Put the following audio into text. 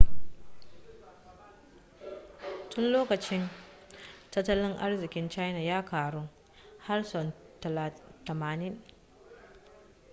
tun lokacin tattalin arzikin china ya karu har sau 90